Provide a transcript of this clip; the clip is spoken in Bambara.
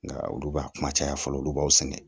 Nka olu b'a kuma caya fɔlɔ olu b'aw sɛnɛ